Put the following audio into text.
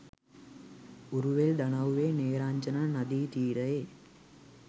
උරුවෙල් දනව්වේ නේරංජරා නදී තීරයේ